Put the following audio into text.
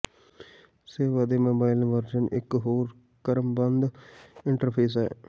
ਸੇਵਾ ਦੇ mobile version ਇੱਕ ਹੋਰ ਕ੍ਰਮਬੱਧ ਇੰਟਰਫੇਸ ਹੈ